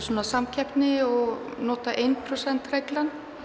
sem var samkeppni og notuð eitt prósent reglan